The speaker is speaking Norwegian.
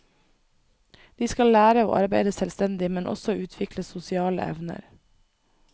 De skal lære å arbeide selvstendig, men også utvikle sosiale evner.